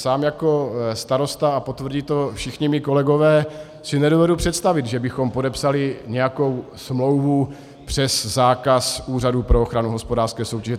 Sám jako starosta, a potvrdí to všichni mí kolegové, si nedovedu představit, že bychom podepsali nějakou smlouvu přes zákaz Úřadu pro ochranu hospodářské soutěže.